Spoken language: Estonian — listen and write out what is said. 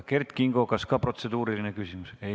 Kert Kingo, kas on protseduuriline küsimus?